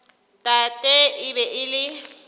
tate e be e le